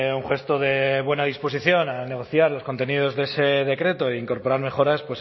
un gesto de buena disposición a negociar los contenidos de ese decreto e incorporar mejoras